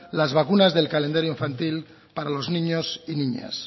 las vacunas del calendario infantil para los niños y niñas